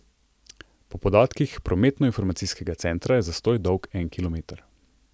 Po podatkih prometnoinformacijskega centra je zastoj dolg en kilometer.